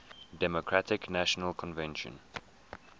democratic national convention